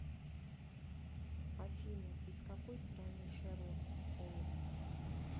афина из какой страны шерлок холмс